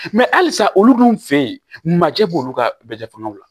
halisa olu dun fe yen majɛ b'olu ka bɛɛ fanga la